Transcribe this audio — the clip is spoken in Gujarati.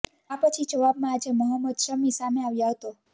આ પછી જવાબમાં આજે મોહમ્મદ શમી સામે આવ્યા હતો